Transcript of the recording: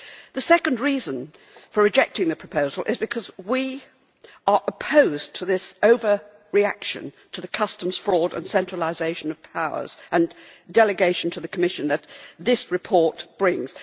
The second reason for rejecting the proposal is because we are opposed to this over reaction to customs fraud, and to the centralisation of powers and delegation to the Commission that this report brings.